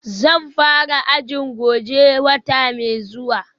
Zan fara ajin goje wata mai zuwa